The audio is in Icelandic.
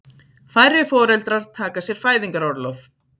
Færri foreldrar taka sér fæðingarorlof